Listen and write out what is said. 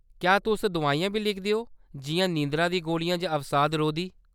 क्या तुस दोआइयां बी लिखदे ओ, जिʼयां नींदरा दियां गोलियां जां अवसादरोधी ?